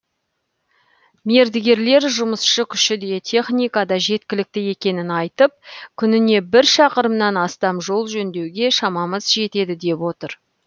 мердігерлер жұмысшы күші де техника да жеткілікті екенін айтып күніне бір шақырымнан астам жол жөндеуге шамамыз жетеді деп отыр